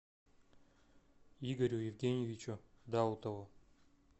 игорю евгеньевичу даутову